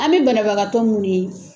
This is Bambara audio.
An be banabagatɔ munnu ye